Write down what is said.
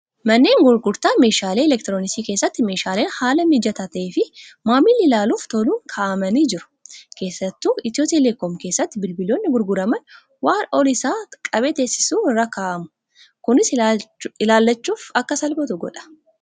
Manneen gurgurtaa meeshaalee elektirooniksii keessatti meeshaaleen haala mijataa ta'ee fi maamilli ilaaluuf toluun kaa'amii jiru. Keessattu etiyootelekoom keessatti bilbiloonni gurguraman waan ol isaa qabee teessisu irra kaa'amu. Kunis ilaallachuuf akka salphatu godha.